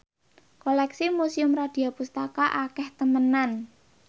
koleksi Museum Radya Pustaka akeh temenan